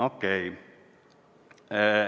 Okei.